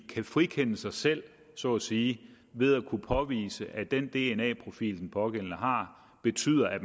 kan frikende sig selv så at sige ved at kunne påvise at den dna profil den pågældende har betyder at